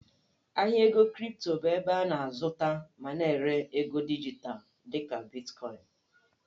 Ahịa ego kripto bụ ebe a na-azụta ma na-ere ego dijitalụ dị ka Bitkọịn.